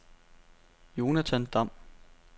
Jonathan Damm